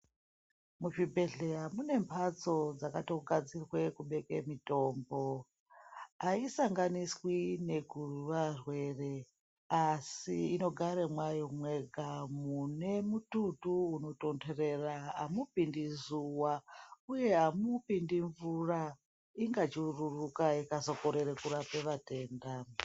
Muzvibhehleya mune mhatso dzakatogadzirwe kubeke mitombo. Aisanganiswi nekuvarwere asi inogara mwayo mwega mune mututu unotontorera amupindi zuwa uye amupindi mvura ingachururuka ikazokorere kurape vatenda.